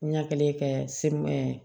Ɲɛ kelen kɛ semu